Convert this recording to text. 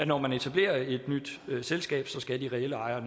når man etablerer et nyt selskab skal de reelle ejere